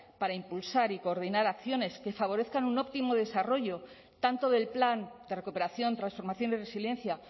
para impulsar y coordinar acciones que favorezcan un óptimo desarrollo tanto del plan de recuperación transformación y resiliencia